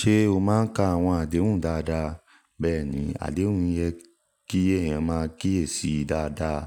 Ṣé o máa ń ka àwọn àdéhùn dáadáa? Bẹ́ẹ̀ni, àdéhùn yẹ kí èèyàn máa kíyèsí dáadáa.